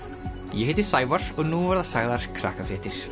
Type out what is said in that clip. ég heiti Sævar og nú verða sagðar